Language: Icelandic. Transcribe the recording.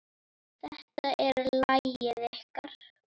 Þetta er lagið ykkar.